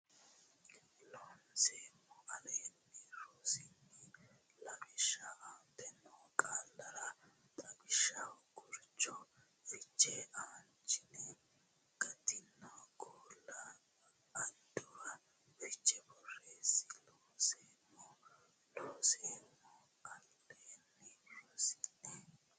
Loonseemmo Aleenni rossini lawishshi aante noo qaallara xawishsha gurcho fichenna aanchine gattino qaalla addarro fiche borreesse Loonseemmo Loonseemmo Aleenni rossini.